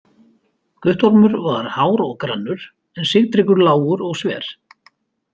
Guttormur var hár og grannur en Sigtryggur lágur og sver.